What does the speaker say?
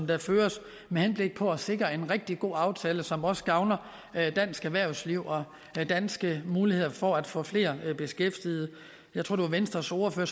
der føres med henblik på at sikre en rigtig god aftale som også gavner dansk erhvervsliv og danske muligheder for at få flere beskæftiget jeg tror at venstres ordfører